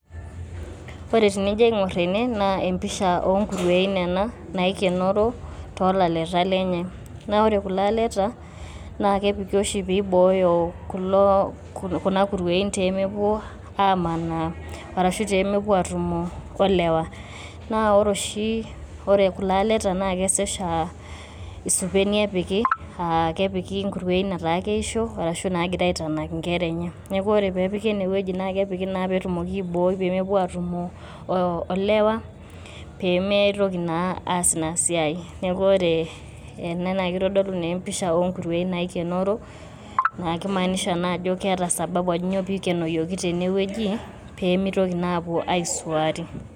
Ore tenijo aing`orr ene naa empisha oo nkuruein nena naikenoro too laleta lenye. Naa ore kulo laleta naa kepiki oshi pee ibooyo kuloo kuna kuruoin pee mepuo amanaa ashu pee mepuo aatumo o lewaa. Naa ore oshi, ore kulo aleta naa kesesha aa isupeni epiki aa kepiki nkuruoin etaa keisho ashu epiki egira aitanak nkera enye. Niaku ore pee epiki ene wueji naa kepiki naa pee etumokini aibooi pee mepuo aatumo olewa pee mitoki naa aas ina siai. Niaku ore naa kitodolu naa empisha oo nkuruein naikenoro. Naa kimaanisha naa ajo keeta sababu ajo kainyioo pee eikenoyioki teine wueji pee meitoki naa aapuo aisuari.